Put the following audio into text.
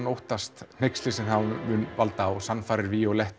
óttast hneykslið sem það mun valda og sannfærir